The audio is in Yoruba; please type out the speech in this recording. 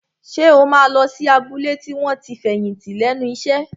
Ṣé o máa lọ sí abúlé àwọn tí wọ́n ti fẹ̀yìntì lẹ́nu iṣẹ́?